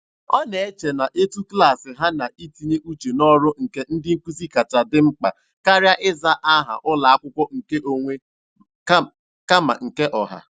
Ọ na-eche na etu klaasị ha na itinye uche n'ọrụ nke ndị nkụzi kacha di mkpa karịa ịza aha ụlọakwụkwọ nke onwe kama nke ọha.